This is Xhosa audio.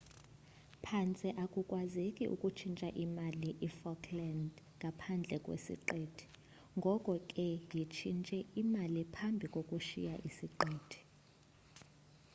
phantse akukwazeki ukutshintsha imali i-falklands ngaphandle kwessiqithi ngoko ke yitshintshe imali phambi kokushiya isiqithi